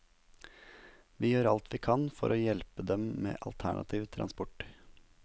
Vi gjør vi alt vi kan for å hjelpe dem med alternativ transport.